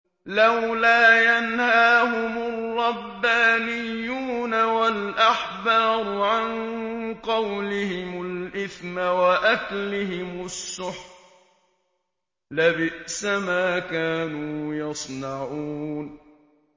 لَوْلَا يَنْهَاهُمُ الرَّبَّانِيُّونَ وَالْأَحْبَارُ عَن قَوْلِهِمُ الْإِثْمَ وَأَكْلِهِمُ السُّحْتَ ۚ لَبِئْسَ مَا كَانُوا يَصْنَعُونَ